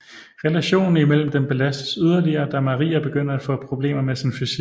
Relationen imellem dem belastes yderligere da Maria begynder at få problemer med sin fysik